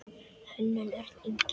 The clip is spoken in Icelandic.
Hönnun: Örn Ingi.